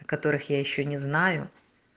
которых я ещё не знаю